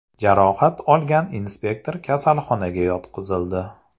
Jarohat olgan inspektor kasalxonaga yotqizildi.